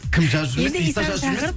кім жазып жүрмесін